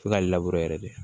F'e ka yɛrɛ de